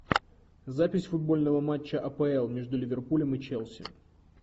запись футбольного матча апл между ливерпулем и челси